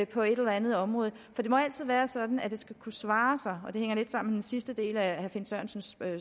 på et eller andet område for det må altid være sådan at det skal kunne svare sig og det hænger lidt sammen sidste del af herre finn sørensens